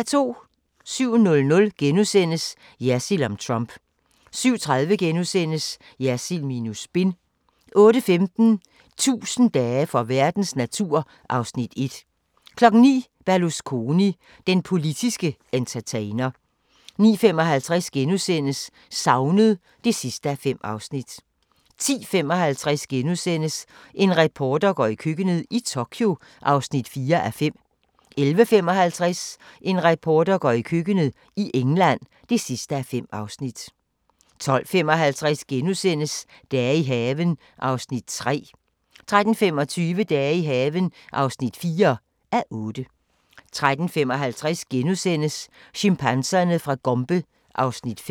07:00: Jersild om Trump * 07:30: Jersild minus spin * 08:15: 1000 dage for verdens natur (Afs. 1) 09:00: Berlusconi – den politske entertainer 09:55: Savnet (5:5)* 10:55: En reporter går i køkkenet – i Tokyo (4:5)* 11:55: En reporter går i køkkenet – i England (5:5) 12:55: Dage i haven (3:8)* 13:25: Dage i haven (4:8) 13:55: Chimpanserne fra Gombe (Afs. 5)*